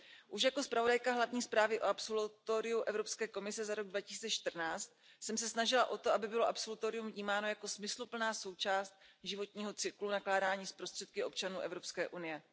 Už jako zpravodajka hlavní zprávy o absolutoriu Evropské komise za rok 2014 jsem se snažila o to, aby bylo absolutorium vnímáno jako smysluplná součást životního cyklu nakládání s prostředky občanů Evropské unie.